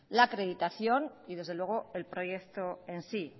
la acreditación y desde luego el proyecto en sí